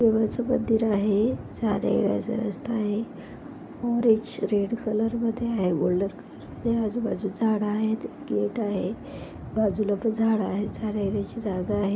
देवाचं मंदिर आहे जाण्या येण्याचा रस्ता आहे ऑरेंज रेड कलर मधे आहे गोल्डन कलर मधे आजू बाजू झाड आहेत गेट आहे बाजूला पण झाडे आहेत जाण्या येण्याचे जागा आहे.